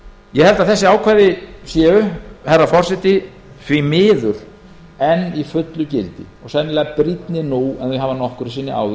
ég held að þessi ákvæði séu herra forseti því miður enn í fullu gildi og sennilega brýnni nú en þau hafa nokkru sinni